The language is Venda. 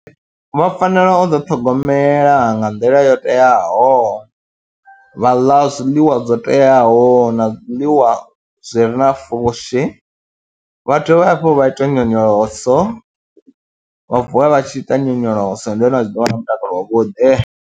Vha fanela u ḓiṱhogomela nga nḓila yo teaho, vha ḽa zwiḽiwa zwo teaho na zwiḽiwa zwi re na pfhushi, vha dovhe hafhu vha ite nyonyoloso, vha vuwa vha tshi ita nyonyoloso ndi hone vha tshi ḓo vha na mutakalo wavhuḓi.